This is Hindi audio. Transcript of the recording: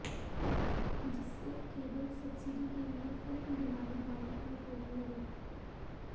जिससे केवल सब्सिडी के लिये फिल्म बनाने वालों पर रोक लगे